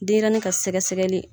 Denɲɛrɛnin ka sɛgɛ sɛgɛli